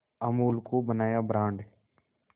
अमूल को बनाया ब्रांड